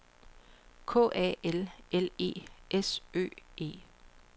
K A L L E S Ø E